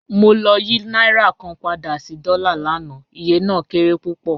Mo lọ̀ yí nàírà kàn pádà sí dọ́là láńà, ìyẹ̀ náà kéré púpọ́